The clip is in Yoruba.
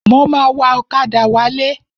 Mo ma wa ọ̀kadà wálé.